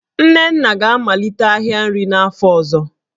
Nnenna ga-amalite ahịa nri n'afọ ọzọ